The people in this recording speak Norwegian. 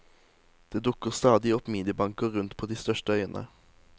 Det dukker stadig opp minibanker rundt på de største øyene.